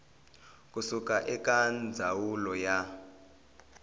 ku suka eka ndzawulo ya